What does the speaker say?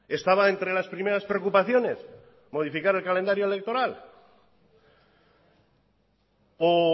estaba entre las primeras preocupaciones modificar el calendario electoral o